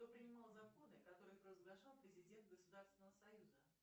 кто принимал законы которые провозглашал президент государственного союза